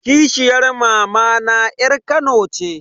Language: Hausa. Kishiyar mamana yar kano ce.